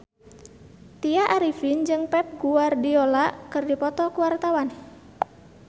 Tya Arifin jeung Pep Guardiola keur dipoto ku wartawan